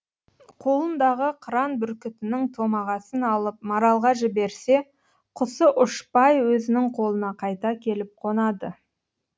қолындағы қыран бүркітінің томағасын алып маралға жіберсе құсы ұшпай өзінің қолына қайта келіп қонады